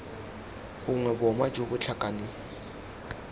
gongwe boma jo bo tlhakaneng